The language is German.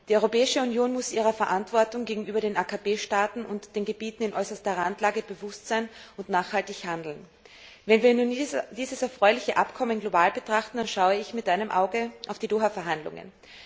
Die Europäische Union muss sich ihrer Verantwortung gegenüber den AKP Staaten und den Gebieten in äußerster Randlage bewusst sein und nachhaltig handeln. Wenn wir nun dieses erfreuliche Abkommen global betrachten, dann schaue ich mit einem Auge auf die Doha Verhandlungen.